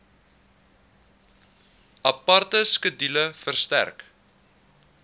aparte skedule verstrek